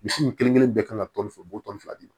Misi ninnu kelen kelen bɛɛ kan ka tɔni fɛ u b'o tɔn fila di ma